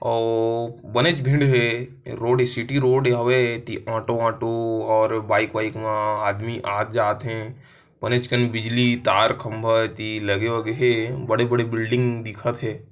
ओ बनेज भीड़ हे रोड इ सिटी रोड हवे ती आटो - वाटो और बाइक -वाइक मा आदमी आत- जात हे पनेज कन बिजली तार खंबा ती लगे -वगे हे बड़े- बड़े बिल्डिंग दिखत हे।